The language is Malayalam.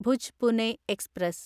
ഭുജ് പുനെ എക്സ്പ്രസ്